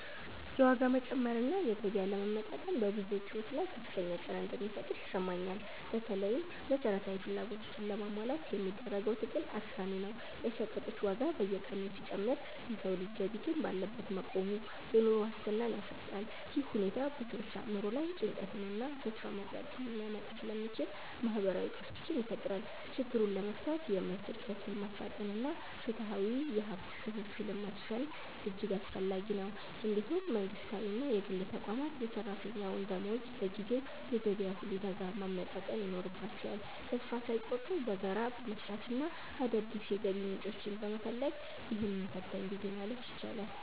የዋጋ መጨመር እና የገቢ አለመመጣጠን በብዙዎች ሕይወት ላይ ከፍተኛ ጫና እንደሚፈጥር ይሰማኛል። በተለይም መሠረታዊ ፍላጎቶችን ለማሟላት የሚደረገው ትግል አድካሚ ነው። የሸቀጦች ዋጋ በየቀኑ ሲጨምር የሰው ልጅ ገቢ ግን ባለበት መቆሙ፣ የኑሮ ዋስትናን ያሳጣል። ይህ ሁኔታ በሰዎች አእምሮ ላይ ጭንቀትንና ተስፋ መቁረጥን ሊያመጣ ስለሚችል፣ ማኅበራዊ ቀውሶችን ይፈጥራል። ችግሩን ለመፍታት የምርት ዕድገትን ማፋጠንና ፍትሐዊ የሀብት ክፍፍልን ማስፈን እጅግ አስፈላጊ ነው። እንዲሁም መንግሥታዊና የግል ተቋማት የሠራተኛውን ደመወዝ በጊዜው የገበያ ሁኔታ ጋር ማመጣጠን ይኖርባቸዋል። ተስፋ ሳይቆርጡ በጋራ በመሥራትና አዳዲስ የገቢ ምንጮችን በመፈለግ፣ ይህንን ፈታኝ ጊዜ ማለፍ ይቻላል።